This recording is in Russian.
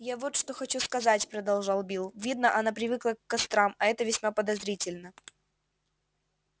я вот что хочу сказать продолжал билл видно она привыкла к кострам а это весьма подозрительно